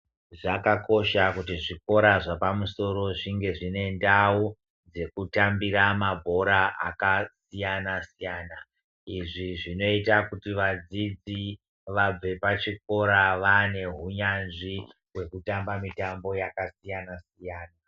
Zvakakosha kuti zvikora zvepamusoro zvinge zvine ndau dzekutambira mabhora akasiyana siyana. Izvi zvinoite kuti vadzidzi vabve pachikora vane huyanzvi hwekutamba mitambo yakasiyana siyana.